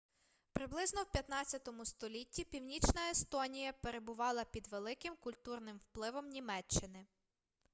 приблизно в 15-му столітті північна естонія перебувала під великим культурним впливом німеччини